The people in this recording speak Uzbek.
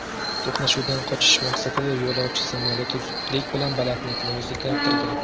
To‘qnashuvdan qochish maqsadida yo‘lovchi samolyoti zudlik bilan balandlikni o‘zgartirgan.